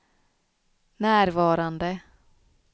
närvarande